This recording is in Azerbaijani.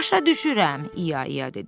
Başa düşürəm, İya İya dedi.